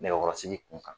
Nɛgɛkɔrɔsigi kun kan